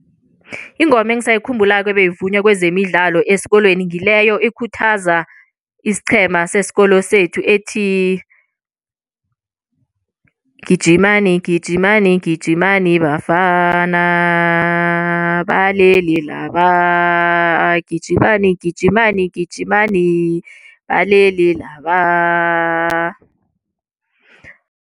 Ingoma engiisayikhumbulako ebeyivunywa kwezemidlalo esikolweni ngileyo ikhuthaza isiqhema sesikolo sethu ethi gijimani gijimani gijimani bafana, balele laba gijimani gijimani gijimani balele laba.